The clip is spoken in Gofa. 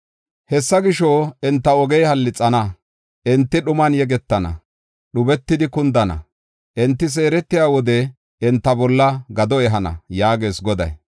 “Hessa gisho, enta ogey hallixana; enti dhuman yegetana, dhubetidi kundana. Enti seeretiya wode enta bolla gado ehana” yaagees Goday.